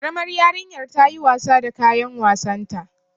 Karamar yarinyar ta yi wasa da kayan wasanta.